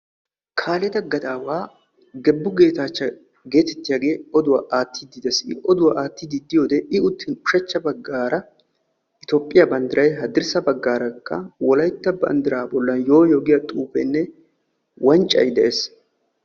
Kaaleta gaddaawa Gebu Geetachcha getettiyaage oduwa aattidi de'ees. I oduwa attiddi diyode I uttiyo ushshachcha baggaara Etoophphiya banddiray haddirssa baggaarakka wolaytta banddiraa bollan yoo yoo giya xuufeenne wanccay de'ees.